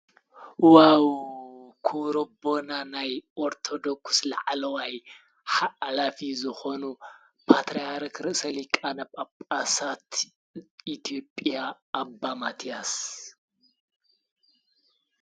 ዋው ክሮቦና ናይ ቖርተዶኩስ ለዓለዋይ ዓላፊ ዝኾኑ ጳትርያር ክርሰሊቃ ነብ ኣብ ጳሣት ኢትዩጵያ ኣቦማትያስ።